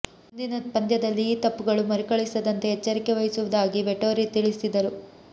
ಮುಂದಿನ ಪಂದ್ಯದಲ್ಲಿ ಈ ತಪ್ಪುಗಳು ಮರುಕಳಿಸದಂತೆ ಎಚ್ಚರಿಕೆ ವಹಿಸುವುದಾಗಿ ವೆಟೋರಿ ತಿಳಿಸಿದರು